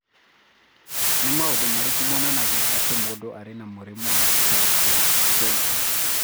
Nĩ maũndũ marĩkũ monanagia atĩ mũndũ arĩ na mũrimũ wa Tricho dento?